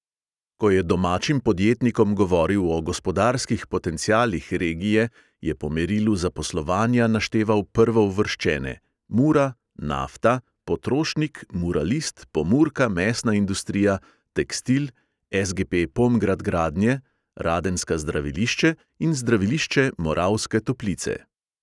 Ko je domačim podjetnikom govoril o gospodarskih potencialih regije, je po merilu zaposlovanja našteval prvouvrščene: mura, nafta, potrošnik, muralist, pomurka mesna industrija, tekstil, SGP pomgrad gradnje, radenska zdravilišče in zdravilišče moravske toplice.